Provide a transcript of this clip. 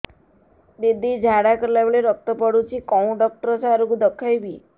ଦିଦି ଝାଡ଼ା କଲା ବେଳେ ରକ୍ତ ପଡୁଛି କଉଁ ଡକ୍ଟର ସାର କୁ ଦଖାଇବି